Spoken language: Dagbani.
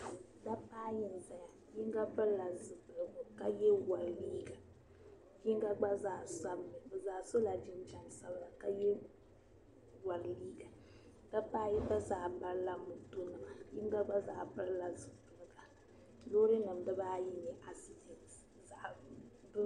Daba ayi nzaya. Yinga piri la zupilgu ka yɛ wari liiga. Yinga gba zaa sabigi mi. Bi zaa so la jinjam sabila ka yɛ wari liiga. Daba ayi gba zaa barila moto nima. Yinga gba zaa piri la zupilga. Loori nim dibaayi n-nyɛ accident.